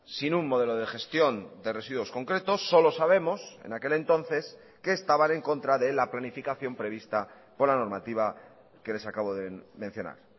sin un modelo de gestión de residuos concretos solo sabemos en aquel entonces que estaban en contra de la planificación prevista por la normativa que les acabo de mencionar